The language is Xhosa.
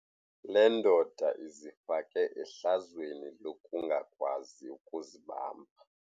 Le ndoda izifake ehlazweni lokungakwazi ukuzibamba.